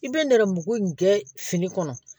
I bɛ nɛrɛmugu in kɛ fini kɔnɔ